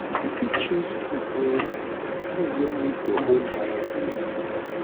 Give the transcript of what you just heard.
you fit choose food wey food wey meet your own diet needs